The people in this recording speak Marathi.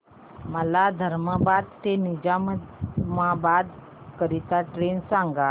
मला धर्माबाद ते निजामाबाद करीता ट्रेन सांगा